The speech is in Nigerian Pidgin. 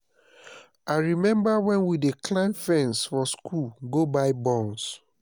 i remember wen we dey climb fence for school go buy buns